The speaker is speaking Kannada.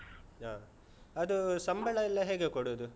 ಹಾ ಅದು ಸಂಬಳ ಎಲ್ಲ ಹೇಗೆ ಕೊಡುದು?